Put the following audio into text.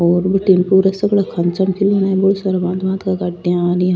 और बड़ी काँचा में --